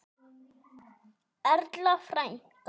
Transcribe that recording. Erla frænka.